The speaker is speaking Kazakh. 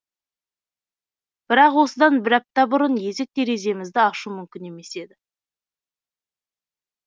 бірақ осыдан бір апта бұрын есік тереземізді ашу мүмкін емес еді